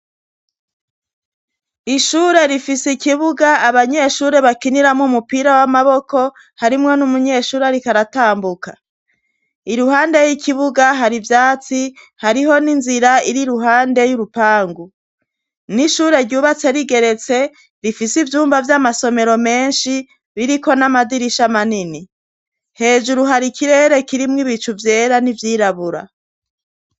Ishure rifise ikibuga abanyeshure bakiniramwo umupira w'amaboko, harimwo n'umunyeshuri ariko aratambuka. Iruhande y'ikibuga hari ivyatsi, hariho n'inzira ir'iruhande y'urupangu, n'ishure ryubatse rigeretse, rifise ivyumba vy'amasomero menshi, biriko n'amadirisha manini. Hejuru har'ikirere kirimwo ibicu vyera n'ivyirabura.